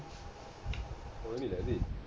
ਕੋਈ ਨੀ ਲਹਿੰਦੀ